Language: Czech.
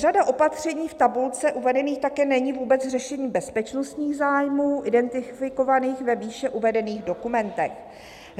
"Řada opatření v tabulce uvedených také není vůbec řešením bezpečnostních zájmů identifikovaných ve výše uvedených dokumentech.